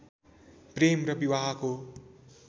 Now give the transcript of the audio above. प्रेम र विवाहको